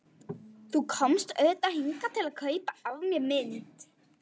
Þú komst auðvitað hingað til að kaupa af mér mynd.